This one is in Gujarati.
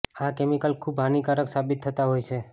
આ કેમિકલ ખૂબ હાનિકારક સાબિત થતાં હોય છે